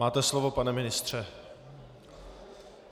Máte slovo, pane ministře.